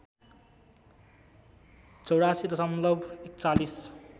८४ दशमलव ४१